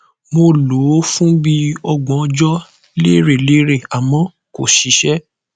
mo lò ó fún bí i ọgbọn ọjọ lérelére àmọ kò ṣiṣẹ